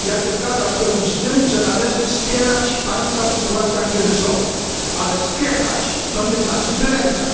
Zgadzam się w pełni z tym, że należy wspierać państwa w sytuacjach kryzysowych, ale wspierać nie znaczy wyręczać.